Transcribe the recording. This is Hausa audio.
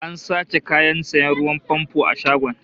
An sace kayan sanya ruwan famfo a shagon